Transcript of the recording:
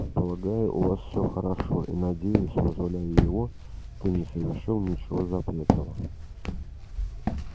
полагаю у вас всё хорошо и надеюсь вызволяя его ты не совершил ничего запретного